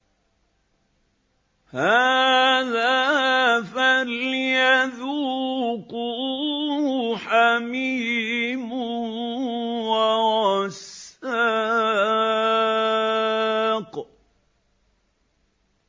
هَٰذَا فَلْيَذُوقُوهُ حَمِيمٌ وَغَسَّاقٌ